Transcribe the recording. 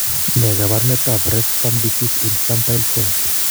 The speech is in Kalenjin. Ne kaabarunetap Refsum disease, infantile form?